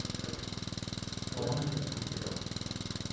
phone ഒന്ന് ശെരിക്കു പിടിക്ക് ട്ടോ